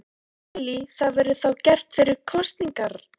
Lillý: Það verður þá gert fyrir kosningar?